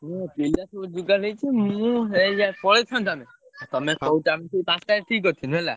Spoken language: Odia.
ହଁ ପିଲା ସବୁ ଯୋଗାଡ଼ ହେଇଛି। ମୁଁ ଏଇ ଯା ପଳେଇଥାନ୍ତୁ ଆମେ ଆଉ ତମେ କହୁଛ ଆମେ ସବୁ ପାଞ୍ଚ ତାରିଖ୍ ଠିକ୍ କରିଥିଲୁ ହେଲା।